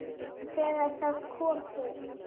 Þegar það kom til